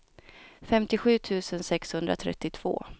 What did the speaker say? femtiosju tusen sexhundratrettiotvå